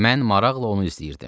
Mən maraqla onu izləyirdim.